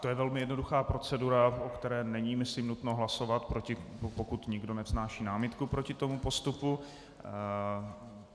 To je velmi jednoduchá procedura, o které není myslím nutno hlasovat, pokud nikdo nevznáší námitku proti tomuto postupu.